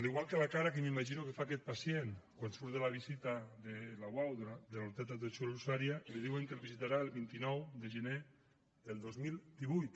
igual que la cara que m’imagino que fa aquest pacient quan surt de la visita de la uau de la unitat d’atenció a l’usuari i li diuen que el visitarà el vint nou de gener del dos mil divuit